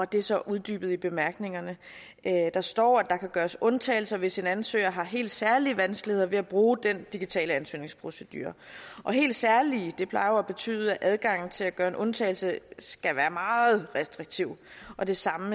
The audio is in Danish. det er så uddybet i bemærkningerne der står at der kan gøres undtagelser hvis en ansøger har helt særlige vanskeligheder ved at bruge den digitale ansøgningsprocedure og helt særlige plejer jo at betyde at adgangen til at gøre en undtagelse skal være meget restriktiv og det samme